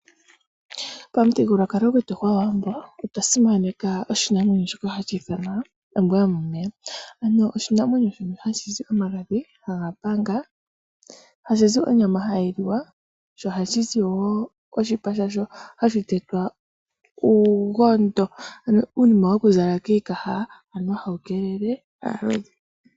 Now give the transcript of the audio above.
Pamuthigululwakalo gwetu gwAawambo otwa simaneka oshinamwenyo shoka hashi ithanwa ombwa yomomeya. Ano oshinamwenyo shono hashi zi omagadhi haga panga, hashi zi onyama hayi liwa, sho ohashi zi wo oshipa shasho hashi tetwa uugondo, ano uunima woku zala kiikaha anuwa hawu kelele aalodhi.